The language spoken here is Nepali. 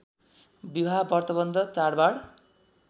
विवाह व्रतवन्ध चाडबाड